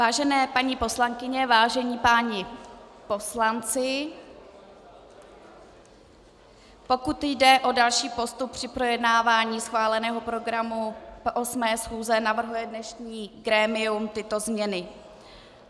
Vážené paní poslankyně, vážení páni poslanci, pokud jde o další postup při projednávání schváleného programu 8. schůze, navrhuje dnešní grémium tyto změny: